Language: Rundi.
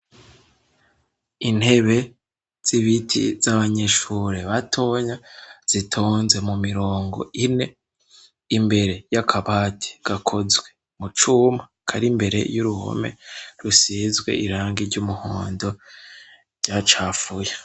intebe z'ibiti z'abanyeshure batonya zitonze mu mirongo ine imbere yakabati gakozwe mucuma karimbere y'uruhome rusizwe irangi ry'umuhondo rya cafuye